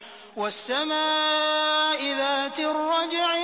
وَالسَّمَاءِ ذَاتِ الرَّجْعِ